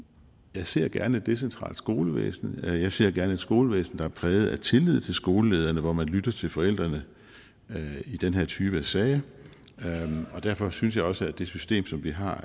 jeg ser gerne et decentralt skolevæsen jeg ser gerne et skolevæsen der er præget af tillid til skolelederne og hvor man lytter til forældrene i den her type af sager derfor synes jeg også at det system som vi har